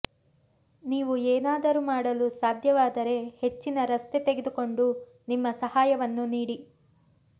ನೀವು ಏನಾದರೂ ಮಾಡಲು ಸಾಧ್ಯವಾದರೆ ಹೆಚ್ಚಿನ ರಸ್ತೆ ತೆಗೆದುಕೊಂಡು ನಿಮ್ಮ ಸಹಾಯವನ್ನು ನೀಡಿ